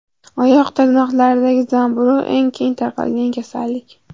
Oyoq tirnoqlaridagi zamburug‘ – eng keng tarqalgan kasallik.